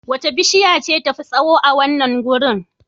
Wace bishiya ce tafi tsawo a wannan wurin?